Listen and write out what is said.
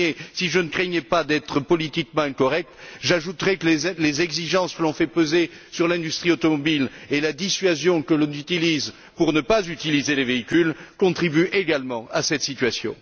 Si je ne craignais pas d'être politiquement incorrect, j'ajouterais que les exigences que l'on fait peser sur l'industrie automobile et la dissuasion que l'on applique pour ne pas utiliser les véhicules contribuent également à cette situation.